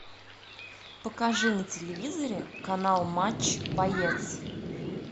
покажи на телевизоре канал матч боец